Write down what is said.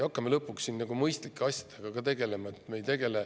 Hakkame lõpuks mõistlike asjadega tegelema.